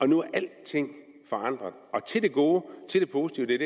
nu er alting forandret og til det gode til det positive det er